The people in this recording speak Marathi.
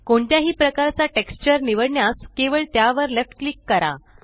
कोणत्याही प्रकारचा टेक्स्चर निवडण्यास केवळ त्यावर लेफ्ट क्लिक करा